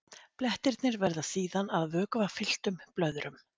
Blettirnir verða síðan að vökvafylltum blöðrum.